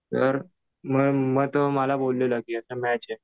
तर मग तो मला बोललेलं की आता मॅच आहे.